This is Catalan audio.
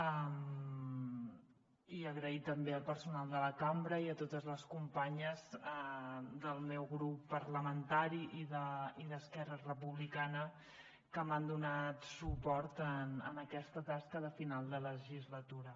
i donar les gràcies també al personal de la cambra i a totes les companyes del meu grup parlamentari i d’esquerra republicana que m’han donat suport en aquesta tasca de final de legislatura